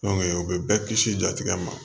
o bɛ bɛɛ kisi jatigɛ ma